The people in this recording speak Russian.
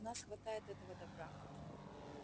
у нас хватает этого добра